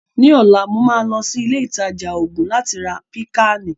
Ní ọ̀la, màá lọ sí ilé ìtajà oògùn láti ra Pìkáànì